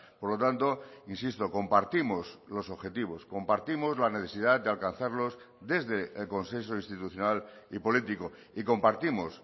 por lo tanto insisto compartimos los objetivos compartimos la necesidad de alcanzarlos desde el consenso institucional y político y compartimos